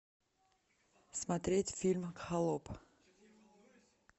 смотреть фильм холоп